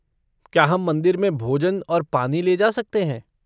क्या हम मंदिर में भोजन और पानी ले जा सकते हैं?